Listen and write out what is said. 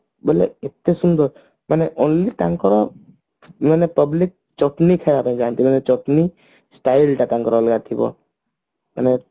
ମାନେ ଏତେ ସୁନ୍ଦର ମାନେ only ତାଙ୍କର ମାନେ public ଚଟନି ଖାଇବା ପାଇଁ ଯାଆନ୍ତି ମାନେ ଚଟନି style ଟା ତାଙ୍କର ଅଲଗା ଥିବ ମାନେ